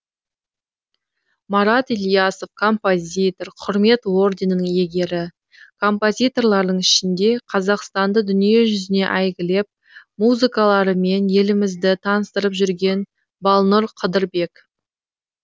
марат ілиясов композитор құрмет орденінің иегері композиторлардың ішінде қазақстанды дүниежүзіне әйгілеп музыкаларымен елімізді таныстырып жүрген балнұр қыдырбек